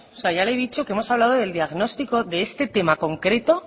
ya le he dicho que hemos hablado del diagnóstico de este tema concreto